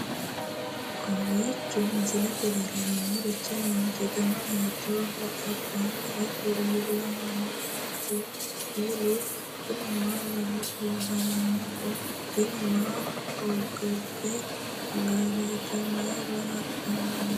kowiicho misilete leellanorichi maati ? dana hiittooho ?abadhhenni ikko uulla noohu kuulu kuni maa lawannoho? tini maa hogobbanno gaareeti mayra hadhanni noote